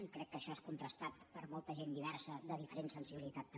i crec que això és contrastat per molta gent diversa de diferent sensibilitat també